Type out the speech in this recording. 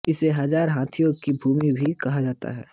इसे हजार हाथियो की भूमि भी कहा जाता है